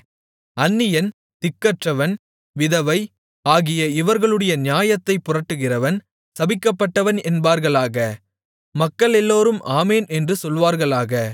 அந்நியன் திக்கற்றவன் விதவை ஆகிய இவர்களுடைய நியாயத்தைப் புரட்டுகிறவன் சபிக்கப்பட்டவன் என்பார்களாக மக்களெல்லோரும் ஆமென் என்று சொல்வார்களாக